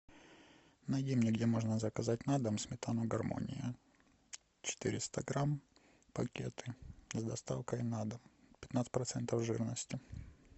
найди мне где можно заказать на дом сметану гармония четыреста грамм пакеты с доставкой на дом пятнадцать процентов жирности